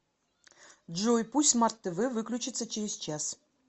джой пусть смарт тв выключится через час